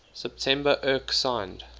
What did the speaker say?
september erc signed